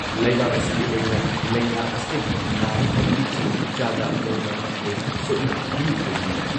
ꯂꯩꯕꯥꯛ ꯑꯁꯤꯒꯤ ꯑꯣꯏꯅ ꯂꯩꯅꯥ ꯑꯁꯤꯗꯒꯤ ꯅꯥꯕ ꯐꯕꯒꯤ ꯆꯥꯡ ꯆꯥꯗ ꯃꯧꯗ꯭ꯔꯥꯃꯥꯊꯣꯏ ꯁꯨꯞꯅ ꯀꯨꯟꯅꯤꯊꯣꯏꯅꯤ